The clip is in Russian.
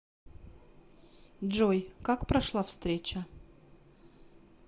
джой как прошла встреча